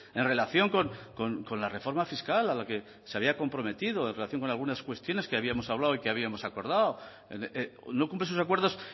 en relación con la reforma fiscal a la que se había comprometido en relación con algunas cuestiones que habíamos hablado y habíamos acordado no cumple sus acuerdos